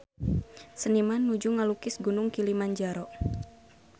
Seniman nuju ngalukis Gunung Kilimanjaro